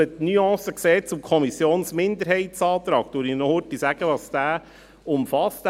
Einfach um die Nuance zum Kommissionsminderheitsantrag zu sehen, sage ich noch, was dieser umfasst.